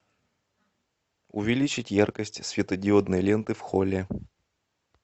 увеличить яркость светодиодной ленты в холле